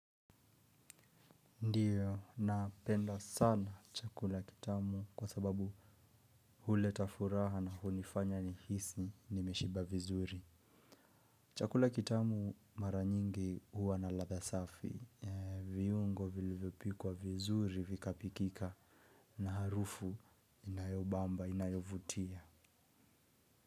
Ndiyo, napenda sana chakula kitamu kwa sababu huleta furaha na hunifanya nihisi nimeshiba vizuri. Chakula kitamu mara nyingi huwa na ladha safi. Viungo vilivyopikwa vizuri vikapikika na harufu inayobamba, inayovutia.